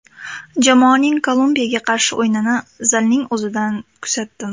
Jamoaning Kolumbiyaga qarshi o‘yinini zalning o‘zidan kuzatdim.